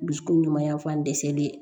Bi kunɲuman yan fan dɛsɛlen